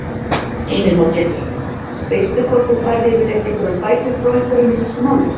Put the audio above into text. Heimir Már Pétursson: Veistu hvort þú færð yfirleitt einhverjar bætur frá einhverjum í þessu máli?